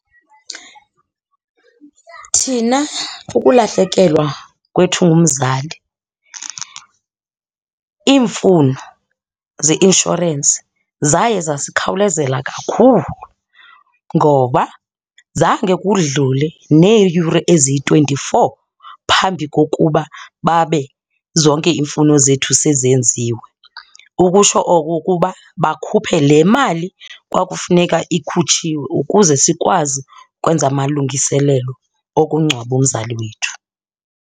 Thina kukulahlekelwa kwethu ngumzali, iimfuno zeinshorensi zaye zasikhawulezela kakhulu ngoba zange kudlule neeyure eziyi-twenty-four phambi kokuba babe zonke iimfuno zethu sezenziwe. Ukutsho oko ukuba bakhuphe le mali kwakufuneka ikhutshiwe ukuze sikwazi ukwenza amalungiselelo okungcwaba umzali wethu.